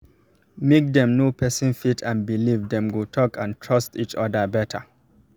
make dem know person faith and believe dem go talk and trust each other better